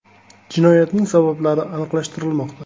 Jinoyatning sabablari aniqlashtirilmoqda.